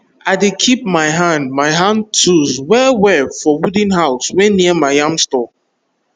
i dey keep my hand my hand tools well well for wooden house wey near my yam store